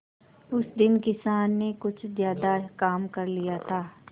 उस दिन किसान ने कुछ ज्यादा काम कर लिया था